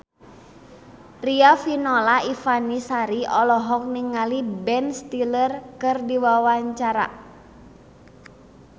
Riafinola Ifani Sari olohok ningali Ben Stiller keur diwawancara